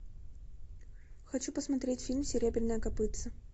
хочу посмотреть фильм серебряное копытце